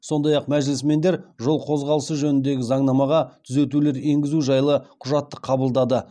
сондай ақ мәжілісмендер жол қозғалысы жөніндегі заңнамаға түзетулер енгізу жайлы құжатты қабылдады